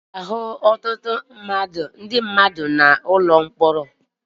Ị ga-ahụ ọtụtụ ndị mmadụ n'ụlọ mkpọrọ